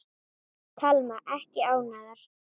Telma: Ekki ánægðar?